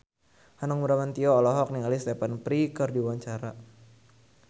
Hanung Bramantyo olohok ningali Stephen Fry keur diwawancara